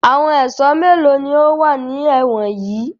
Àwọn ẹ̀sọ́ mélòó ni ó wà ní ẹ̀wọ̀n yìí?